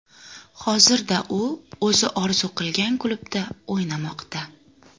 Hozirda u o‘zi orzu qilgan klubda o‘ynamoqda.